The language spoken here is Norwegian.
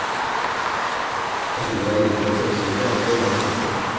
Jeg finner det allikevel sannsynlig at det var slik.